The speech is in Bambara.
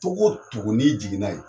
Togo o togo ni jiginna yen